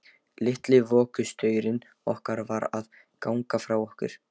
Litli vökustaurinn okkar var að ganga frá okkur.